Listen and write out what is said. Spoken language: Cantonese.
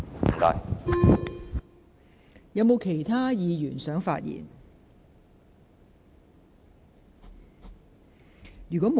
是否有其他議員想發言？